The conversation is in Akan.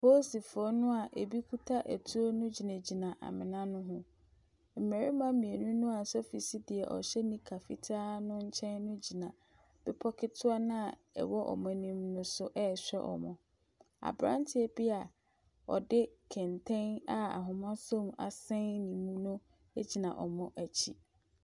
Apolisifoɔ no a ɛbi kuta atuo no gyinagyina amena no ho. Mmaruma mmienu a sofi si deɛ ɔhyɛ nika fitaa no nkyɛn no gyina bepɔ ketewa no a ɛwɔ wɔn anim no so rehwɛ wɔn. Aberanteɛ bi a ɔde kɛntɛn a ahoma sɔ mu asɛn ne mu no gyina wɔn akyi.